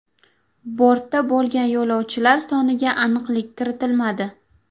Bortda bo‘lgan yo‘lovchilar soniga aniqlik kiritilmadi.